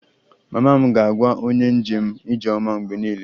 Mama m ga-agwa onye njem 'ijeoma' mgbe niile